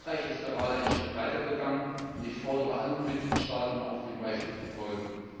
Frankreich ist gerade einen Schritt weitergegangen und ich fordere andere Mitgliedstaaten auf, diesem Beispiel zu folgen.